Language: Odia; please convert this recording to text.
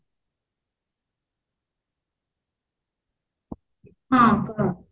ହଁ କହ